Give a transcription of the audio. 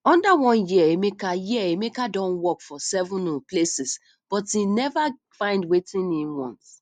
under one year emeka year emeka don work for seven um places but im never find wetin im want